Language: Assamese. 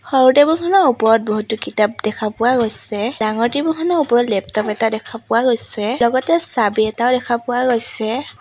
সৰু টেবুল খনৰ ওপৰত বহুতো কিতাপ দেখা পোৱা গৈছে ডাঙৰ টেবুল খনৰ ওপৰত লেপটপ এটা দেখা পোৱা গৈছে লগতে চাবি এটাও দেখা পোৱা গৈছে।